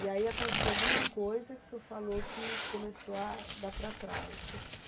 E aí aconteceu alguma coisa que o senhor falou que começou a dar para trás.